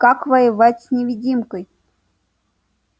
как воевать с невидимкой